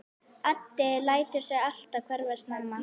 Addi lætur sig alltaf hverfa snemma.